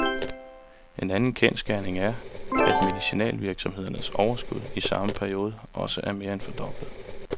En anden kendsgerning er, at medicinalvirksomhedernes overskud i samme periode også er mere end fordoblet.